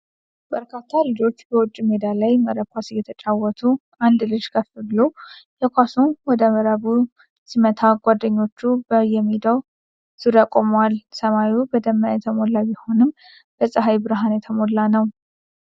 በርካታ ልጆች በውጭ ሜዳ ላይ መረብ ኳስ እየተጫወቱ ። አንድ ልጅ ከፍ ብሎ የኳሱን ወደ መረቡ ሲመታ፣ ጓደኞቹ በየሜዳው ዙሪያ ቆመዋል። ሰማዩ በደመና የተሞላ ቢሆንም በፀሐይ ብርሃን የተሞላ ነው።